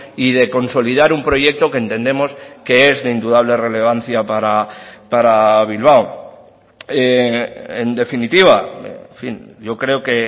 y de consolidar un proyecto que entendemos que es de indudable relevancia para bilbao en definitiva en fin yo creo que